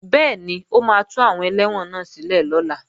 Bẹ́ẹ̀ni, o máa tú àwọn ẹlẹ́wọ̀n náà sílẹ̀ lọ́la